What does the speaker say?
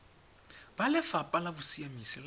ba lefapha la bosiamisi le